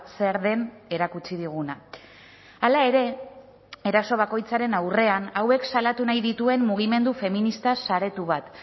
zer den erakutsi diguna hala ere eraso bakoitzaren aurrean hauek salatu nahi dituen mugimendu feminista saretu bat